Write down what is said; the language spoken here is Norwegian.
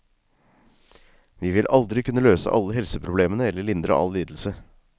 Vi vil aldri kunne løse alle helseproblemene eller lindre all lidelse.